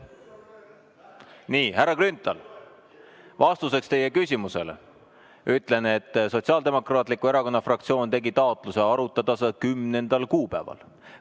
Nii, härra Grünthal, vastuseks teie küsimusele ütlen, et Sotsiaaldemokraatliku Erakonna fraktsioon tegi taotluse arutada seda 10. kuupäeval.